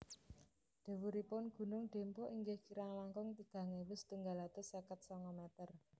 Dhuwuripun gunung Dempo inggih kirang langkung tigang ewu setunggal atus seket sanga meter